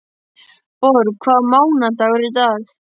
Borg, hvaða mánaðardagur er í dag?